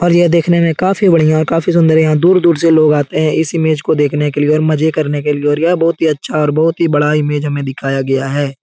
और यह देखने में काफी बढ़िया और काफी सुंदर । यहां दूर-दूर से लोग आते हैं इस इमेज को देखने के लिए और मजे करने के लिए और यह बहुत ही अच्छा और बहुत ही बड़ा इमेज हमें दिखाया गया है ।